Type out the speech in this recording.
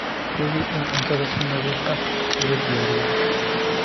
Hubi in cuntada si nadiif ah loo diyaariyey.